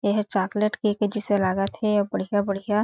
एहा chocolate cake ए जइसे लागत हे अउ बढ़िया बढिया--